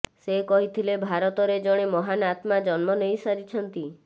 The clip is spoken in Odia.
ସେ କହିଥିଲେ ଭାରତରେ ଜଣେ ମହାନ୍ ଆତ୍ମା ଜନ୍ମ ନେଇ ସାରିଛନ୍ତି